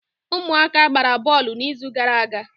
ụmụaka gbara bọọlụ n'izu gara aga